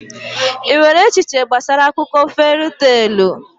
Ị nwere echiche gbasara akụkọ feri teelụ?